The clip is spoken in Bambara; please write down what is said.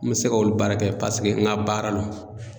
N bɛ se k'olu baara kɛ paseke n ka baara lo.